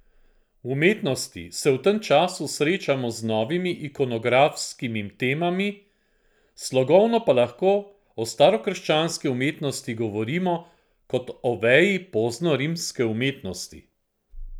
V umetnosti se v tem času srečamo z novimi ikonografskimi temami, slogovno pa lahko o starokrščanski umetnosti govorimo kot o veji poznorimske umetnosti.